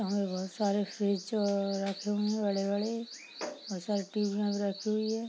यहाँ पर बहुत सारे फ्रिज जो रखे हुए है बड़े-बड़े रखी हुई है।